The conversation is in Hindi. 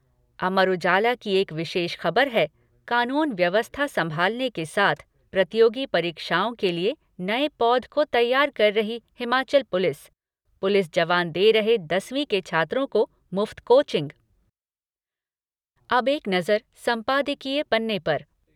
अमर उजाला की एक विशेष खबर है कानून व्यवस्था संभालने के साथ प्रतियोगी परीक्षाओं के लिए नए पौध को तैयार कर रही हिमाचल पुलिस पुलिस जवान दे रहे दसवीं के छात्रों को मुफ्त कोचिंग। अब एक नज़र संपादकीय पन्ने पर